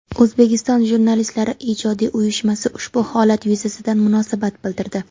O‘zbekiston Jurnalistlari ijodiy uyushmasi ushbu holat yuzasidan munosabat bildirdi.